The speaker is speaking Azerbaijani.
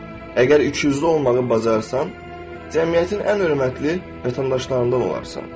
Əgər ikiüzlü olmağı bacarsan, cəmiyyətin ən hörmətli vətəndaşlarından olarsan.